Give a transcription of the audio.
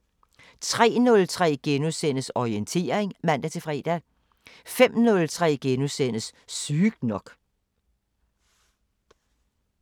03:03: Orientering *(man-fre) 05:03: Sygt nok *